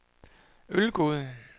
Ølgod